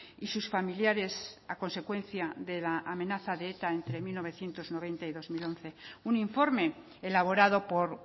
y sus familiares a consecuencia de la amenaza de eta entre mil novecientos noventa y dos mil once un informe elaborado por